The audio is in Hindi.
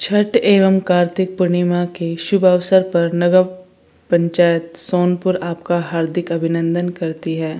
छठ एवं कार्तिक पूर्णिमा की शुभ अवसर पर नगर पंचायत सोनपुर आपका हार्दिक अभिनदंन करती है।